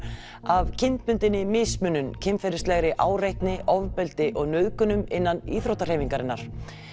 af kynbundinni mismunun kynferðislegri áreitni ofbeldi og nauðgunum innan íþróttahreyfingarinnar